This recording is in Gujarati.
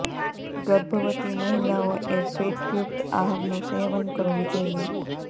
ગર્ભવતી મહિલાઓ એ ફેટયુક્ત આહાર નુ સેવન કરવુ જોઈએ